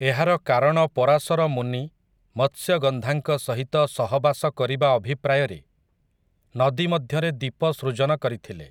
ଏହାର କାରଣ ପରାଶର ମୁନି ମତ୍ସ୍ୟଗନ୍ଧାଙ୍କ ସହିତ ସହବାସ କରିବା ଅଭିପ୍ରାୟରେ ନଦୀମଧ୍ୟରେ ଦୀପ ସୃଜନ କରିଥିଲେ।